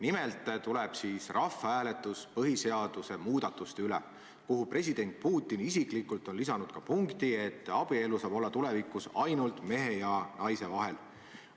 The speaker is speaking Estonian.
Nimelt toimub siis rahvahääletus põhiseaduse muutmise üle, kuhu president Putin isiklikult on lisanud ka punkti, et abielu saab olla tulevikus ainult mehe ja naise vahel.